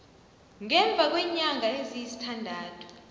ngemva kweenyanga eziyisithandathu